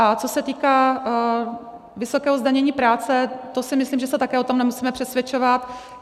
A co se týká vysokého zdanění práce, to si myslím, že se také o tom nemusíme přesvědčovat.